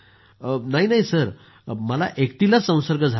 नाही नाही सर मला एकटीलाच संसर्ग झाला होता